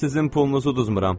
Sizin pulunuzu uzmuram.